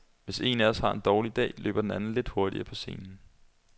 Hvis en af os har en dårlig dag, løber den anden lidt hurtigere på scenen.